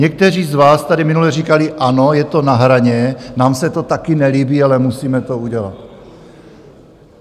Někteří z vás tady minule říkali: Ano, je to na hraně, nám se to taky nelíbí, ale musíme to udělat.